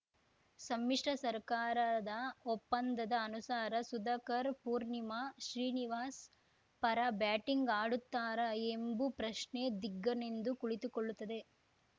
ಸಮ್ಮಿಶ್ರ ಸರ್ಕಾರದ ಒಪ್ಪಂದದ ಅನುಸಾರ ಸುಧಾಕರ್‌ ಪೂರ್ಣಿಮಾ ಶ್ರೀನಿವಾಸ್‌ ಪರ ಬ್ಯಾಟಿಂಗ್‌ ಅಡುತ್ತಾರಾ ಎಂಬು ಪ್ರಶ್ನೆ ದಿಗ್ಗನೆಂದ್ದು ಕುಳಿತುಕೊಳ್ಳುತ್ತದೆ